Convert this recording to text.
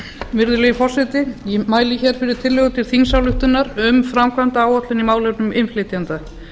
virðulegi forseti ég mæli hér fyrir tillögu til þingsályktunar um framkvæmdaáætlun í málefnum innflytjenda